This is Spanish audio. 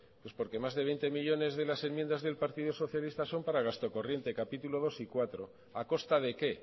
pues porque más de veinte millónes de las enmiendas del partido socialista son para gasto corriente capítulo segundo y cuarto a costa de qué